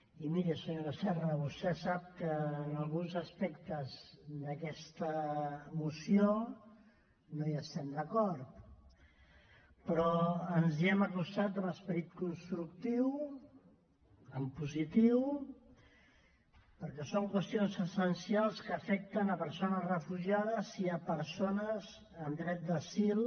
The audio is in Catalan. i miri senyora serra vostè sap que amb alguns aspectes d’aquesta moció no hi estem d’acord però ens hi hem acostat amb esperit constructiu en positiu perquè són qüestions essencials que afecten persones refugiades i persones amb dret d’asil